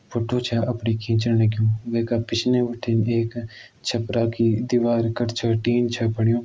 फुट्टो छ अपणी खिचण लग्युं। वेका पिछने बिठिन एक छपरा की दिवार कठ छ टीन छ पड़्यूं।